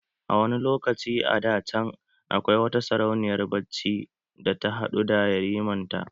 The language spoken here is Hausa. A wani lokaci a da can, akwai wata sarauniyar bacci da ta haɗu da yariman ta